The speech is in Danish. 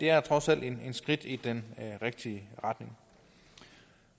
er trods alt et skridt i den rigtige retning